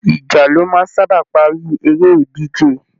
Ìjà ló máa ń sábà parí eré ìdíje